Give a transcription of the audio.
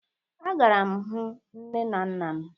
A gara m hụ nne n nna m